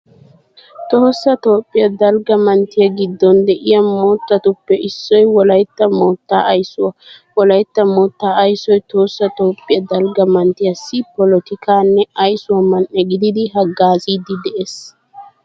Tohossa Toophphiya dalgga manttiya giddon de'iya moottatuppe issoy wolaytta moottaa aysuwa. Wolaytta moottaa aysoy Tohossa toophphiya dalgga manttiyassi polotikaanne aysuwa man"e gididi haggaaziiddi de'ees.